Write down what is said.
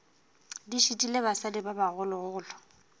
di šitile basadi ba bogologolo